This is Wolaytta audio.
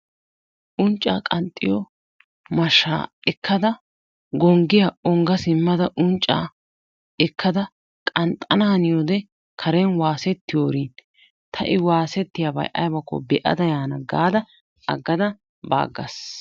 Unccaa qanxxiyo mashshaa ekkada gonggiya ongga simmada unccaa ekkada qanxxanaaniyode karen eaasettiyorin ta i waasettiyabayi aybakko be"ada yaana gaada aggada ba aggas.